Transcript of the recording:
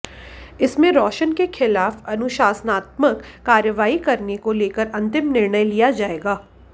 इसमें रोशन के खिलाफ अनुशासनात्मक कार्रवाई करने को लेकर अंतिम निर्णय लिया जाएगा